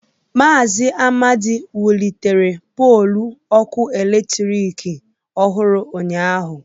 Mazị Amadi wulitere pọlu ọkụ eletrik ọhụrụ ụnyahụ.